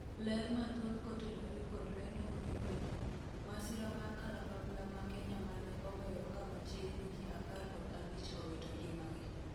ler mathoth kotenore kod lendo ni vidio ,masira mar kalapapla ma Kenya mane oweyo ka machiegni ji apar kod abich owito ngimagi